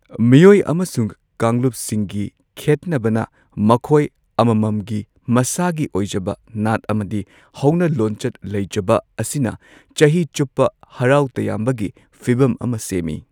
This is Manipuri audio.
ꯃꯤꯑꯣꯏ ꯑꯃꯁꯨꯡ ꯀꯥꯡꯂꯨꯞꯁꯤꯡꯒꯤ ꯈꯦꯠꯅꯕꯅ ꯃꯈꯣꯏ ꯑꯃꯃꯝꯒꯤ ꯃꯁꯥꯒꯤ ꯑꯣꯏꯖꯕ ꯅꯥꯠ ꯑꯃꯗꯤ ꯍꯧꯅ ꯂꯣꯟꯆꯠ ꯂꯩꯖꯕ ꯑꯁꯤꯅ ꯆꯍꯤ ꯆꯨꯞꯄ ꯍꯔꯥꯎ ꯇꯌꯥꯝꯕꯒꯤ ꯐꯤꯚꯝ ꯑꯃ ꯁꯦꯝꯃꯤ꯫